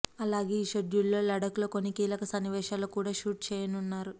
అలాగే ఈ షెడ్యూల్ లో లడఖ్ లో కొన్ని కీలక సన్నివేశాలను కూడా షూట్ చేయనున్నారు